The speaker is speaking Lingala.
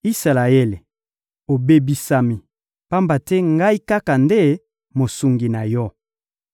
Isalaele, obebisami; pamba te Ngai kaka nde Mosungi na yo!